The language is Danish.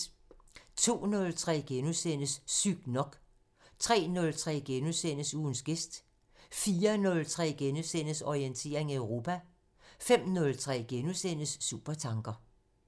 02:03: Sygt nok * 03:03: Ugens gæst * 04:03: Orientering Europa * 05:03: Supertanker *